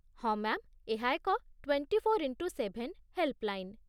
ହଁ ମ୍ୟା'ମ୍, ଏହା ଏକ ଟ୍ୱେଣ୍ଟିଫୋର୍ ଇନ୍‌ଟୁ ସେଭେନ୍ ହେଲ୍ପଲାଇନ୍